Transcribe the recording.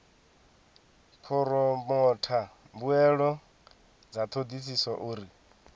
phoromotha mbuelo dza thodisiso uri